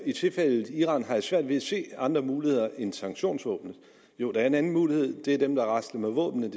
i tilfældet iran har jeg svært ved at se andre muligheder end sanktionsvåbenet jo der er en anden mulighed nemlig at rasle med våbnene